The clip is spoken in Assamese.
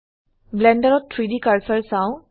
ব্লেন্ডাৰত 3ডি কাৰ্সাৰ চাও